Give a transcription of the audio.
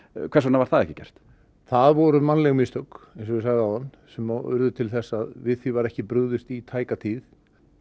hvers vegna var það ekki gert það voru mannleg mistök sem urðu til þess að við því var ekki brugðist í tæka tíð